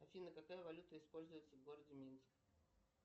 афина какая валюта используется в городе минск